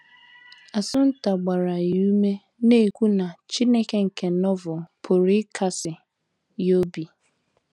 Assunta gbara ya ume, na - ekwu na Chineke nke Novel pụrụ ịkasi ya obi.